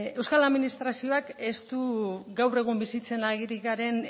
euskal administrazioak ez du gaur egun bizitzen ari garen